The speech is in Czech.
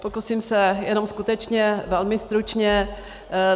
Pokusím se jenom skutečně velmi stručně.